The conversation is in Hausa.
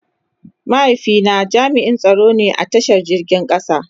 Mahaifi na jami'n tsaro ne a ta shan jirgin kasa.